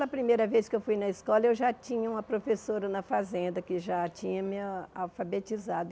Na primeira vez que eu fui na escola, eu já tinha uma professora na fazenda que já tinha me al alfabetizado.